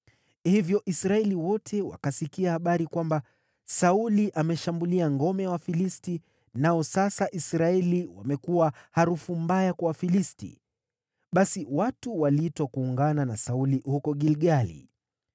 Hivyo Israeli wote wakasikia habari kwamba: “Sauli ameshambulia ngome ya Wafilisti, nao sasa Israeli wamekuwa harufu mbaya kwa Wafilisti.” Basi watu waliitwa kuungana na Sauli huko Gilgali.